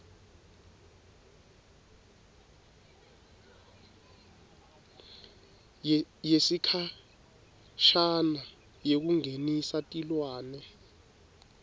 yesikhashane yekungenisa tilwane